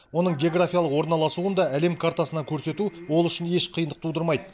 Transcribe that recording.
оның географиялық орналасуын да әлем картасынан көрсету ол үшін еш қиындық тудырмайды